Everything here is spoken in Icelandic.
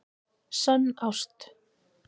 Sönn ást